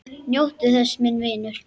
Njóttu þess, minn vinur.